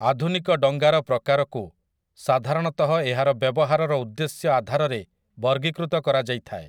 ଆଧୁନିକ ଡଙ୍ଗା ର ପ୍ରକାରକୁ ସାଧାରଣତଃ ଏହାର ବ୍ୟବହାରର ଉଦ୍ଦେଶ୍ୟ ଆଧାରରେ ବର୍ଗୀକୃତ କରାଯାଇଥାଏ ।